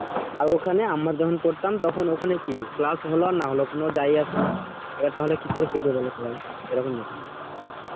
আর ওখানে আমরা যখন পড়তাম তখন ওখানে কি class হল আর না হল কোনো যায় আসে না, এবার তাহলে কি করে শিখবে বলো সবাই